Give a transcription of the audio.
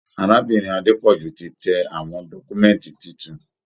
Arábìnrin Adepoju ti tẹ àwọn dọkumẹ̀nti títún.